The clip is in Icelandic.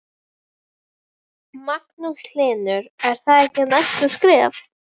Magnús Hlynur: Er það ekki næsta skref?